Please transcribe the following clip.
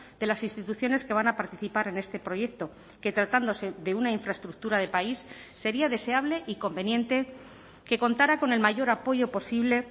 de las instituciones que van a participar en este proyecto que tratándose de una infraestructura de país sería deseable y conveniente que contara con el mayor apoyo posible